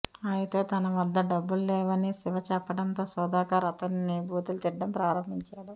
అయితే తన వద్ద డబ్బులు లేవని శివ చెప్పడంతో సుధాకర్ అతనిని బూతులు తిట్టడం ప్రారంభించాడు